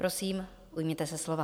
Prosím, ujměte se slova.